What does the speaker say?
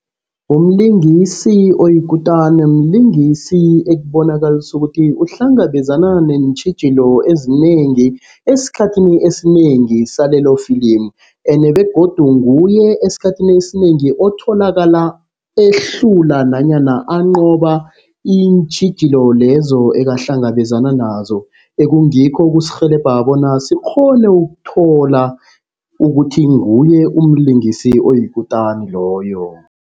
Umlingisi oyikutana, mlingisi ekubonakalisa ukuthi uhlangabezana neentjhijilo ezinengi esikhathini esinengi salelofilimu. Ende begodu nguye esikhathini esinengi otholakala ehlula nanyana anqoba iintjhijilo lezo ekahlangabezana nazo. Ekungikho ekusirhelebha bona sikghone ukuthola ukuthi nguye umlingisi oyikutani loyo.